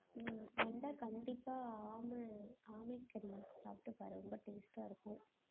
உம் வந்தா கண்டிப்பா ஆமை~ ஆமை கறி சாப்பிட்டு பாரு ரொம்ப taste ஆ இருக்கும்.